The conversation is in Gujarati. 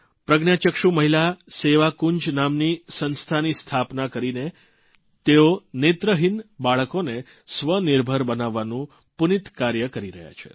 પ્રજ્ઞાચક્ષુ મહિલા સેવાકુંજ નામની સંસ્થાની સ્થાપના કરી ને તેઓ નેત્રહિન બાળકોને સ્વનિર્ભર બનાવવાનું પુનિત કાર્ય કરી રહ્યા છે